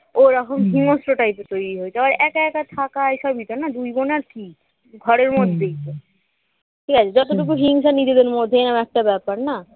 ও ওরকম হিংস্র টাইপের তৈরি হয়েছে আবার একা একা থাকা এই সব দিত না দুই বোন আর কি ঘরের মধ্যেই তো ঠিক আছে যতটুকু হিংসা নিজেদের মধ্যে এরকম একটা ব্যাপার না